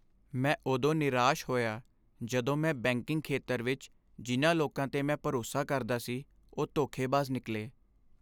ਮੈਂ ਉਦੋਂ ਨਿਰਾਸ਼ ਹੋਇਆ ਜਦੋਂ ਮੈਂ ਬੈਂਕਿੰਗ ਖੇਤਰ ਵਿੱਚ ਜਿਨ੍ਹਾਂ ਲੋਕਾਂ 'ਤੇ ਮੈਂ ਭਰੋਸਾ ਕਰਦਾ ਸੀ ਉਹ ਧੋਖੇਬਾਜ਼ ਨਿਕਲੇ।